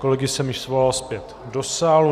Kolegy jsem již svolal zpět do sálu.